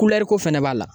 ko fɛnɛ b'a la